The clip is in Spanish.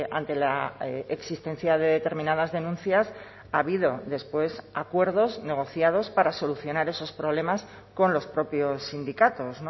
ante la existencia de determinadas denuncias ha habido después acuerdos negociados para solucionar esos problemas con los propios sindicatos